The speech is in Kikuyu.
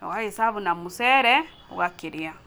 na ũga gĩ serve na mũcere ũgakĩrĩa.